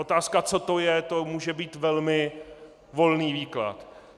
Otázka, co to je, to může být velmi volný výklad.